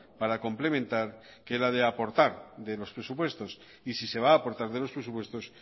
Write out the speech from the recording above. para complementar que la de aportar de los presupuestos y si se va a aportar de los presupuestos